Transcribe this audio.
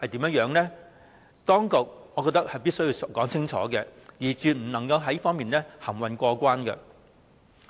我認為當局亦必須清楚說明，絕不可以在此含混過關。